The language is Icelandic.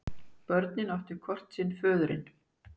Börnin áttu hvort sinn föðurinn.